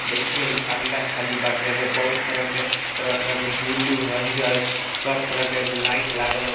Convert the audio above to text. देखिये इ अंडा खानी बाटे ऐमे बहुत तरह के तरह-तरह के बुल्लु हरियर सब तरह के ऐमे लाइट लागल बा।